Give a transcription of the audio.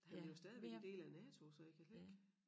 Han er jo stadigvæk en del af NATO så jeg kan slet ikke